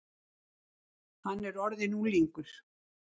Hann er orðinn unglingur.